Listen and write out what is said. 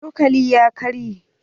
Cokalin ya karye.